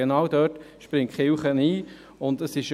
Genau dort springt die Kirche ein.